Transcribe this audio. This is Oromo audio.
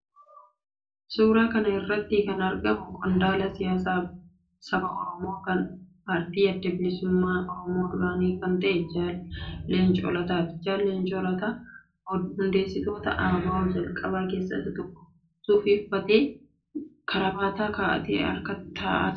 Suuraa kana irratti kan argamu qondaala siyaasaa saba Oromoo, kan paartii Adda Bilisummaa Oromoo duraanii kan ta'e Jaal Leencoo Lataati. Jaal Leencoo Lataan hundeessitoota ABO jalqabaa keessaa isa tokko. Suufii uffatee, kaarabaata kaa'atee hirkatee taa'ee jira.